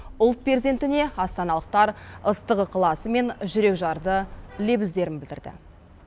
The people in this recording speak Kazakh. ұлт перзентіне астаналықтар ыстық ықыласы мен жүрекжарды лебіздерін білдірді